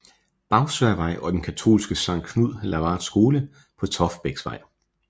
Bagsværdvej og den katolske Sankt Knud Lavard Skole på Toftebæksvej